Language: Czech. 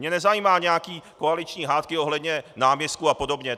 Mě nezajímají nějaké koaliční hádky ohledně náměstků a podobně.